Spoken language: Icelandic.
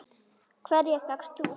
Hverja fékkst þú?